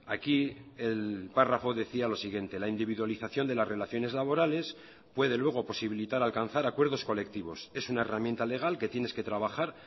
aquí el párrafo decía lo siguiente la individualización de las relaciones laborales puede luego posibilitar alcanzar acuerdos colectivos es una herramienta legal que tienes que trabajar